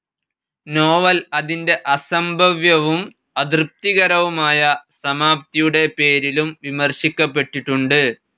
Novel അതിന്റെ അസംഭവ്യവും അതൃപ്തികരവുമായ സമാപ്തിയുടെ പേരിലും വിമർശിക്കപ്പെട്ടിട്ടുണ്ട്.